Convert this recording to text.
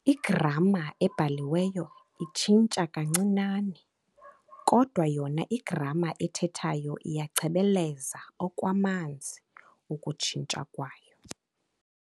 Igramma ebhaliweyo itshintsha kancinane kodwa yona igramma ethethwayo iyachebeleza okwamanziukutshintsha kwayo.